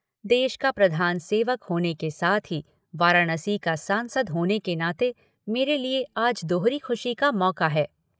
देश का प्रधान सेवक होने के साथ ही वाराणसी का सांसद होने के नाते मेरे लिए आज दोहरी खुशी का मौका है।